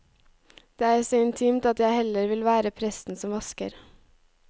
Det er så intimt at jeg heller vil være presten som vasker.